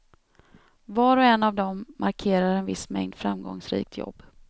Var och en av dem markerar en viss mängd framgångsrikt jobb.